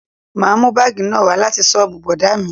Ma mú bagi náà wá láti soobu bọ̀dá mi